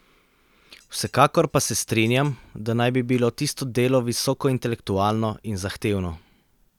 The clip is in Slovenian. Vsekakor pa se strinjam, da naj bi bilo tisto delo visoko intelektualno in zahtevno.